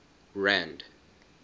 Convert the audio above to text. rand